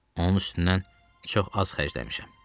Onun üstündən çox az xərcləmişəm.